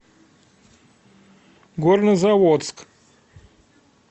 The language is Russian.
горнозаводск